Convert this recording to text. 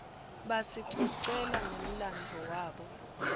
basicocela nemladvo wabo